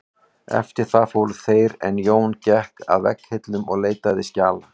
Eftir það fóru þeir en Jón gekk að vegghillum og leitaði skjala.